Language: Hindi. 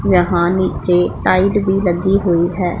यहां नीचे टाइल भी लगी हुई है।